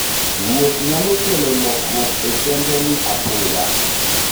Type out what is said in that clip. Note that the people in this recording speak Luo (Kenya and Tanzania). Wuoth nyalo kelo lokruok e chenroni apoya.